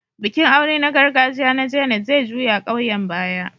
Bikin aure na gargajiya na Janet zai juya ƙauyen baya.